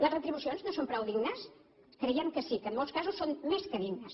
les retribucions no són prou dignes creiem que sí que en molts casos són més que dignes